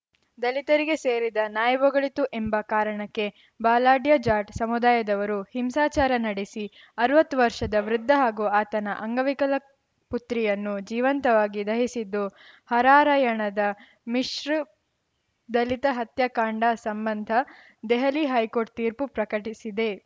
ದಲಿತರಿಗೆ ಸೇರಿದ ನಾಯಿ ಬೊಗಳಿತು ಎಂಬ ಕಾರಣಕ್ಕೆ ಬಲಾಢ್ಯ ಜಾಟ್‌ ಸಮುದಾಯದವರು ಹಿಂಸಾಚಾರ ನಡೆಸಿ ಅರವತ್ತು ವರ್ಷದ ವೃದ್ಧ ಹಾಗೂ ಆತನ ಅಂಗವಿಕಲ ಪುತ್ರಿಯನ್ನು ಜೀವಂತವಾಗಿ ದಹಿಸಿದ್ದು ಹರಾರ‍ಯಣದ ಮಿಶೃಪ್ ದಲಿತ ಹತ್ಯಾಕಾಂಡ ಸಂಬಂಧ ದೆಹಲಿ ಹೈಕೋರ್ಟ್‌ ತೀರ್ಪು ಪ್ರಕಟಿಸಿದೆ